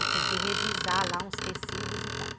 Eu tinha que revisar lá uns tecidos e tal.